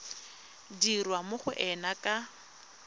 dirwa mo go ena ka